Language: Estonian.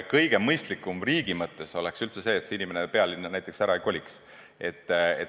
Kõige mõistlikum riigi mõttes oleks üldse see, et inimene pealinna näiteks ei koliks.